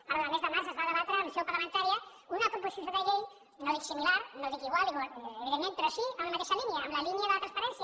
perdó en el mes de març es va debatre en seu parlamentària una proposició de llei no dic similar no dic igual evidentment però sí en la mateixa línia en la línia de la transparència